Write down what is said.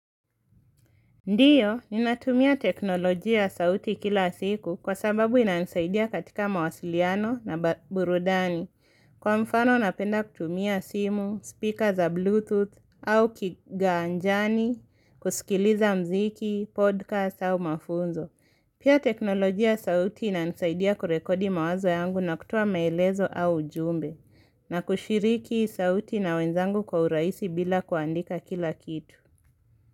Ndiyo, ni natumia teknoloji ya sauti kila siku kwa sababu ina nisaidia katika mawasiliano na burudani. Kwa mfano napenda kutumia simu, speaker za bluetooth, au kigaanjani, kusikiliza mziki, podcast au mafunzo. Pia teknoloji ya sauti ina nisaidia kurekodi mawazo yangu na kutoa maelezo au ujumbe, na kushiriki sauti na wenzangu kwa uraisi bila kuandika kila kitu.